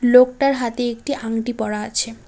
লোকটার হাতে একটি আংটি পরা আছে।